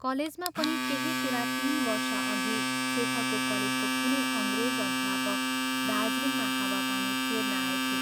कलेजमा पनि त्यही कुरा तीन वर्षअघि शेखरको कलेजको कुनै अंग्रेज अध्यापक दार्जीलिङमा हावा पानी फेर्न आएथे।